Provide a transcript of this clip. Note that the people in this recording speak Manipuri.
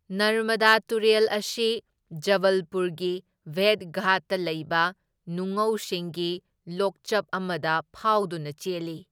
ꯅꯔꯃꯗꯥ ꯇꯨꯔꯦꯜ ꯑꯁꯤ ꯖꯕꯜꯄꯨꯔꯒꯤ ꯚꯦꯗꯘꯥꯠꯇ ꯂꯩꯕ ꯅꯨꯡꯉꯧꯁꯤꯡꯒꯤ ꯂꯣꯛꯆꯞ ꯑꯃꯗ ꯐꯥꯎꯗꯨꯅ ꯆꯦꯜꯂꯤ꯫